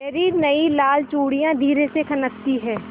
मेरी नयी लाल चूड़ियाँ धीरे से खनकती हैं